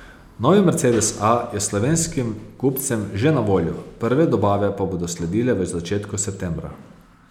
Novi mercedes A je slovenskim kupcem že na voljo, prve dobave pa bodo sledile v začetku septembra.